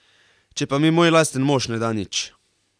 Če pa mi moj lasten mož ne da nič!